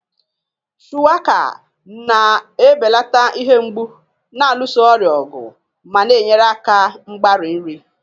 Shuwaka na-ebelata ihe mgbu, na-alụso ọrịa ọgụ, ma na-enyere aka mgbari nri.